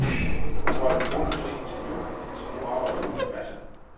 Hun holdt en måned fri til jul, så nu arbejder hun en masse.